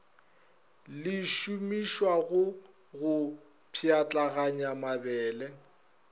le šomišwago go pšhatlaganya mabele